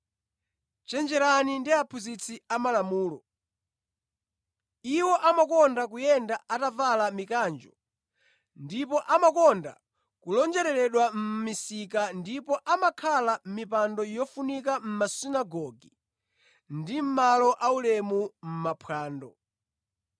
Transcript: “Chenjerani ndi aphunzitsi amalamulo. Iwo amakonda kuyenda atavala mikanjo ndipo amakonda kulonjeredwa mʼmisika ndipo amakhala mʼmipando yofunika mʼmasunagoge ndi mʼmalo aulemu mʼmaphwando.